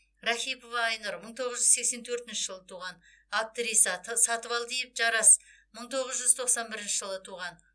рахипова айнұр мың тоғыз жүз сексен төртінші жылы туған актриса сатыбалдиев жарас мың тоғыз жүз тоқсан бірінші жылы туған